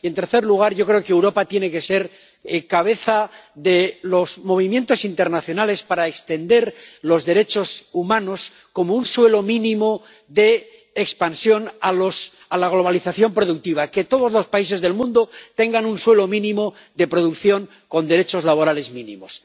Y, en tercer lugar, yo creo que Europa tiene que ser cabeza de los movimientos internacionales para extender los derechos humanos, como un suelo mínimo de expansión a la globalización productiva que todos los países del mundo tengan un suelo mínimo de producción con unos derechos laborales mínimos.